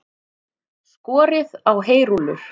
Skorið á heyrúllur